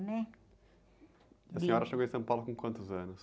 né? senhora chegou em São Paulo com quantos anos?